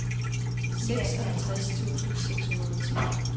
seksoghalvtreds tusind seks hundrede og ti